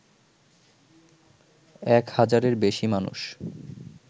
এক হাজারের বেশি মানুষ